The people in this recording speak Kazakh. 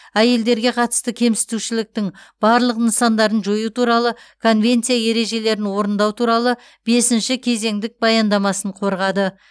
әйелдерге қатысты кемсітушіліктің барлық нысандарын жою туралы конвенция ережелерін орындау туралы бесінші кезеңдік баяндамасын қорғады